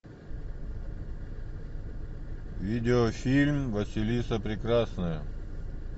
видеофильм василиса прекрасная